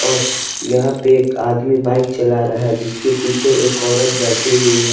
और यहां पे एक आदमी बाइक चला रहा है जिसके पीछे एक औरत बैठी हुई है ।